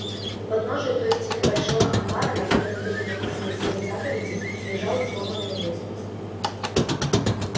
у подножия той стены большого амбара на которой были написаны семь заповедей лежала сломанная лестница